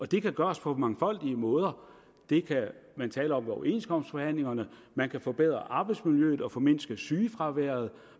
det kan gøres på mangfoldige måder det kan man tale om ved overenskomstforhandlingerne man kan forbedre arbejdsmiljøet og formindske sygefraværet